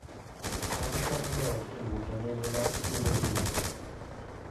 cham konyo joot e dwoko nengo mar chiemo piny